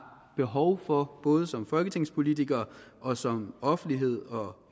behov for både som folketingspolitikere og som offentlighed